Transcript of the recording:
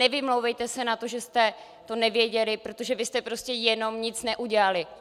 Nevymlouvejte se na to, že jste to nevěděli, protože vy jste prostě jenom nic neudělali.